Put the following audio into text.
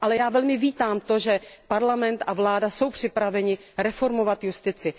Ale já velmi vítám to, že parlament a vláda jsou připraveny reformovat justici.